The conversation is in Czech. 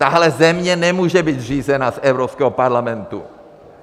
Tahle země nemůže být řízena z Evropského parlamentu.